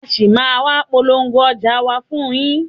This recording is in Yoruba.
A ṣì máa a wá polówó ọjà wa fún yín.